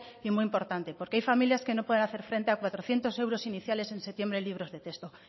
y muy importante porque hay familias que no pueden hacer frente a cuatrocientos euros iniciales en septiembre en libros de texto